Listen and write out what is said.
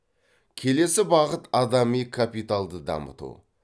келесі бағыт адами капиталды дамыту